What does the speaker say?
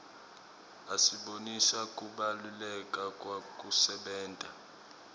asibonisa kubalaleka kwekusebenta